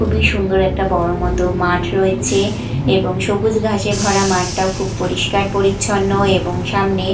খুবই সুন্দর একটা বড় মত মাঠ রয়েছে এবং সবুজ ঘাসে ভরা মাঠটাও খুব পরিষ্কার পরিচ্ছন্ন এবং সামনে--